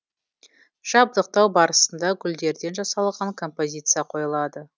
жабдықтау барысында гүлдерден жасалған композиция қойылады